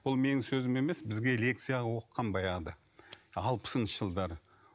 бұл менің сөзім емес бізге лекция қылып оқыған баяғыда алпысыншы жылдары